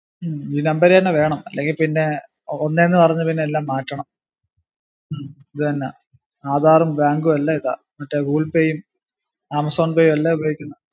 ഹും ഈ number എന്നെ വേണം ഇല്ലെങ്ങി പിന്നെ ഒന്നേ ന്ന് പറഞ് എല്ലാം മാറ്റണം ഹും ഇതുതന്നെ ആധാറും bank ഉം എല്ലാം ഇതാ google pay യും ആമസോൺ പേയും എല്ലാ ഉപയോഗിക്കുന്ന